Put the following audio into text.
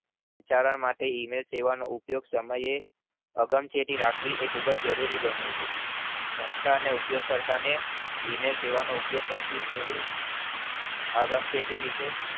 સંચાલન માટે email સેવાનો ઉપયોગ સમયે આગમ શેતી રાખવી એ ખુબજ જરૂરી બન્યું છે સંસ્થા ને ઉપયોગ કરતા ને email સેવાનો ઉપયોગ કરતી ફેરી આગમ શેતી વિષે